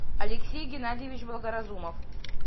алексей геннадьевич благоразумов